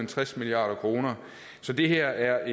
tres milliard kroner så det her er